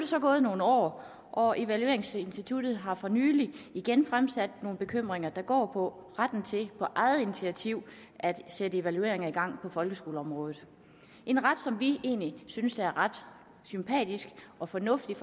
så gået nogle år og evalueringsinstituttet har for nylig igen fremsat nogle bekymringer der går på retten til på eget initiativ at sætte evalueringer i gang på folkeskoleområdet en ret som vi egentlig synes er ret sympatisk og fornuftig